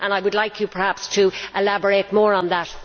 I would like you perhaps to elaborate more on that.